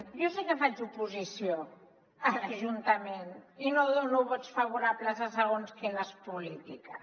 jo sí que faig oposició a l’ajuntament i no dono vots favorables a segons quines polítiques